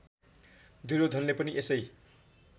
दुर्योधनले पनि यसै